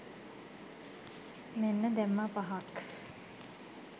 මෙන්න දැම්මා පහක්!